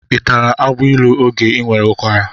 Ị tarala agbailu oge ị nwere ụkwara?